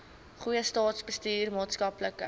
goeie staatsbestuur maatskaplike